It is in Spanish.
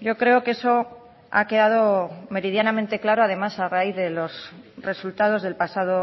yo creo que eso ha quedado meridianamente claro además a raíz de los resultados del pasado